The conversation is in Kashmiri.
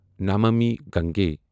نَمامی گنگی